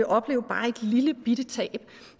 opleve bare et lillebitte tab